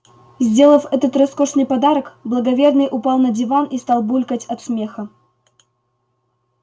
сделав этот роскошный подарок благоверный упал на диван и стал булькать от смеха